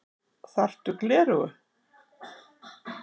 Þarftu gleraugu?